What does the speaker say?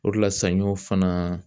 O de la sanɲɔn fana